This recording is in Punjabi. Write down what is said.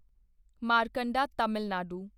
ਮਾਰਕੰਡਾ ਤਾਮਿਲ ਨਾਡੂ